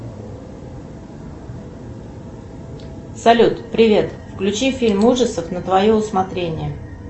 салют привет включи фильм ужасов на твое усмотрение